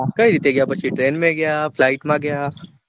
હમ્મ કઈ રીતે ગયા પછી train માં ગયા flight માં ગયા.